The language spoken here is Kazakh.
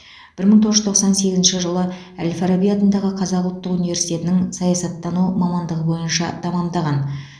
бір мың тоғыз жүз тоқсан сегізінші жылы әл фараби атындағы қазақ ұлттық университетінің саясаттану мамандығы бойынша тәмамдаған